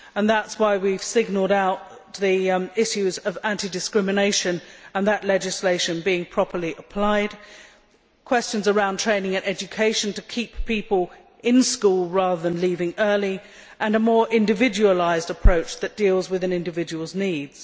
That is why we have singled out the issues of anti discrimination and that legislation being properly applied, questions relating to training and education to keep people in school rather than leaving early, and a more individualised approach that deals with an individual's needs.